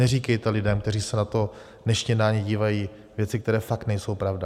Neříkejte lidem, kteří se na to dnešní jednání dívají, věci, které fakt nejsou pravda.